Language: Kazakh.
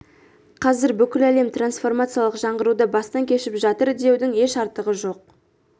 қазір бүкіл әлем трансформациялық жаңғыруды бастан кешіп жатыр деудің еш артықтығы жоқ